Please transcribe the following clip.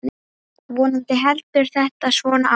Vonandi heldur þetta svona áfram.